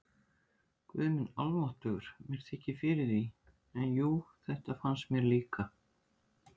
Guð minn almáttugur, mér þykir fyrir því, en jú, þetta fannst mér líka